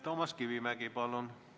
Toomas Kivimägi, palun!